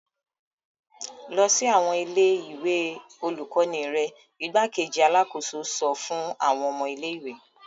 Lọ sí awọn ilé-ìwé olukọni rẹ! Igbákejì Alàkóso sọ fun awọn ọmọ ilé-ìwé